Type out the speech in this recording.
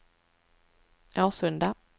Årsunda